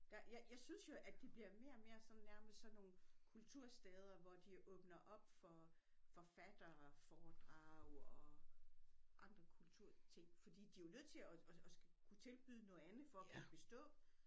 Der jeg synes jo at de bliver mere og mere sådan nærmest sådan nogle kultursteder hvor de åbner op for forfatterforedrag og andre kulturting fordi de jo nødt til at kunne tilbyde noget andet for at kunne bestå